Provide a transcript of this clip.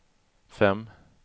fem